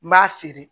N b'a feere